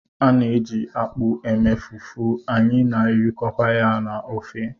A na-eji akpụ eme fufu, anyị na-erikọkwa ya na ofe